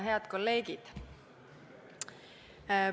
Head kolleegid!